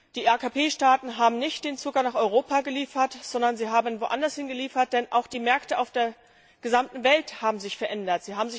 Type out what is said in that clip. Die AKP Staaten haben nicht den Zucker nach Europa geliefert, sondern sie haben woandershin geliefert, denn die Märkte auf der gesamten Welt haben sich verändert.